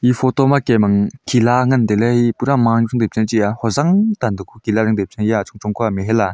photo ma kem ang khila ngan taile pura ma ang chamji chi aa hojang tan taku kila ding taipu chang aa iya achong chong kua mahal aa.